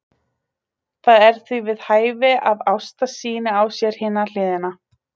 Það er því við hæfi að Ásta sýni á sér hina hliðina.